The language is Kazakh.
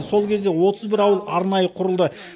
сол кезде отыз бір ауыл арнайы құрылды